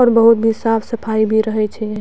और बहुत भी साफ सफाई भी रहे छै।